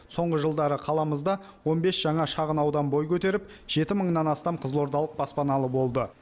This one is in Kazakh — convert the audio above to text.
соңғы жылдары қаламызда он бес жаңа шағын аудан бой көтеріп жеті мыңнан астам қызылордалық баспаналы болды